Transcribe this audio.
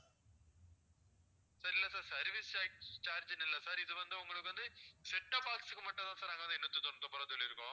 sir இல்ல sir service tax charge னு இல்ல sir இது வந்து உங்களுக்கு வந்து setup box க்கு மட்டும் தான் sir நாங்க வந்து எண்ணூத்தி தொண்ணூத்தி ஒன்பது ரூபா சொல்லிருக்கோம்